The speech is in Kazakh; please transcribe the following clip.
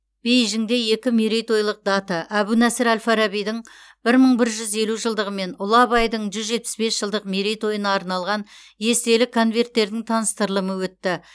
бейжіңде екі мерейтойлық дата әбу насыр әл фарабидің бір мың бір жүз елу жылдығы мен ұлы абайдың жүз жетпіс бес жылдық мерейтойына арналған естелік конверттердің таныстырылымы өтті